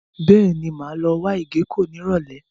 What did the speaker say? Bẹ́ẹ̀ni, mo máa wá ìgéko ní Ìrọ̀lẹ́.